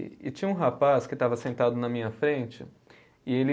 E e tinha um rapaz que estava sentado na minha frente e ele